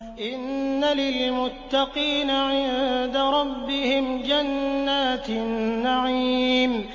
إِنَّ لِلْمُتَّقِينَ عِندَ رَبِّهِمْ جَنَّاتِ النَّعِيمِ